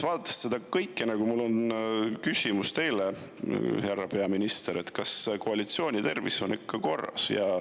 Vaadates seda kõike, mul on küsimus teile, härra peaminister: kas koalitsiooni tervis on ikka korras?